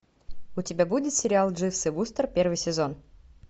у тебя будет сериал дживс и вустер первый сезон